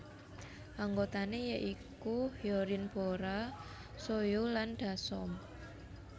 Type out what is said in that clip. Anggotané ya iku Hyorin Bora Soyou lan Dasom